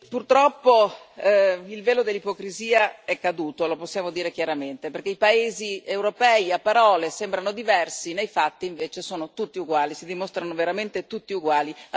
Purtroppo il velo dell'ipocrisia è caduto, lo possiamo dire chiaramente, perché i paesi europei a parole sembrano diversi, nei fatti invece sono tutti uguali, si dimostrano veramente tutti uguali.